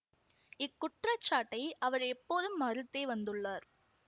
இக்குற்றச்சாட்டை அவர் எப்போதும் மறுத்தே வந்துள்ளார்